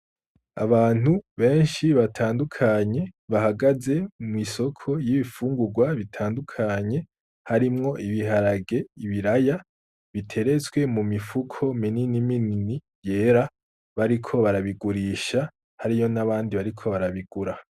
Abantu benshi batandukanye bahagaze kw’isoko y’ibifungurwa bitandukanye harimwo ibiharage , ibiraya biteretswe mu mifuko minini minini yera bariko baragurisha hariyo n’abandi bariko barabigura.